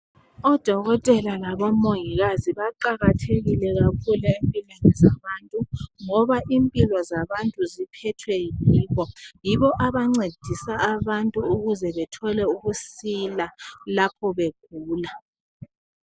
Odokotela labomongikazi baqakathekile kakhulu empilweni zabantu ngoba impilo zabantu ziphethwe yini yibo abancedisa abantu ukuze bethole ukusila lapho begula.